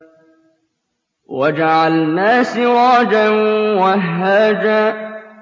وَجَعَلْنَا سِرَاجًا وَهَّاجًا